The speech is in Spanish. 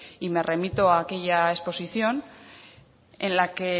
y me remito a aquella exposición en la que